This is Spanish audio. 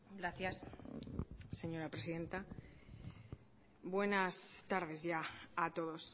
gracias señora presidenta buenas tardes ya a todos